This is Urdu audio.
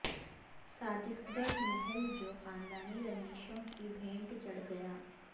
صادق گڑھ محل جو خاندانی رنجشوں کی بھینٹ چڑھ گیا